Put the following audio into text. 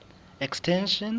extension